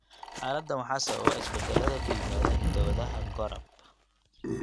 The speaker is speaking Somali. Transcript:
Xaaladdan waxaa sababa isbeddellada ku yimaada hidda-wadaha GORAB.